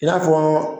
I n'a fɔ